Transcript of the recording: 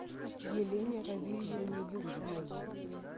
елене равильевне юшиной